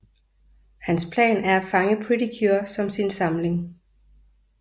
Hans plan er at fange Pretty Cure som sin samling